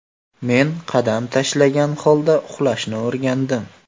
Men qadam tashlagan holda uxlashni o‘rgandim.